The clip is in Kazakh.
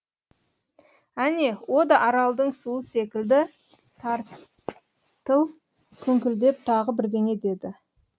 әне о да аралдың суы секілді тартыл күңкілдеп тағы бірдеңе деді